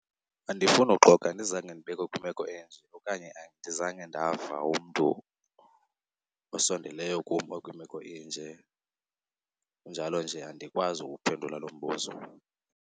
Andifuni uxoka andizange ndibekho kwimeko enje okanye andizange ndava umntu osondeleyo kum okwimeko enje, kunjalo nje andikwazi ukuphendula lo mbuzo.